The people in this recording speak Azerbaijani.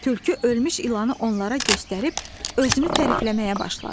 Tülkü ölmüş ilanı onlara göstərib özünü tərifləməyə başladı.